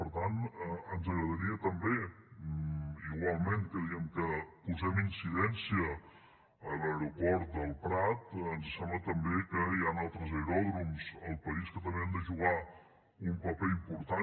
i per tant ens agradaria també igualment que diem que posem incidència a l’aeroport del prat ens sembla també que hi han altres aeròdroms al país que també han de jugar un paper important